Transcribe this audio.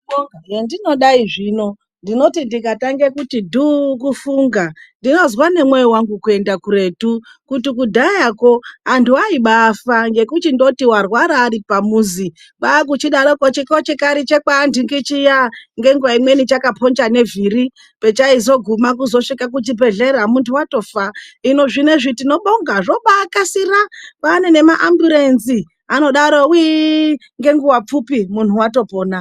Hendinodai zvino ndinoti ndikatange kuti dhuu kufunga ndinozwa nemwoyo wangu kuenda kuretu kuti kudhayako antu aimbaafa ngekundoti warwara ari pamuzi kwakuchidaroko chikochikari chekwaantingi chiya, ngenguwa imweni chakaponja nevhiri pechaiguma kusvika kuchibhedhlera muntu watofa. Hino zvinezvi tinobonga zvombakasira kwaane mamburenzi anodaro whiii ngenguwa pfupi muntu watopona.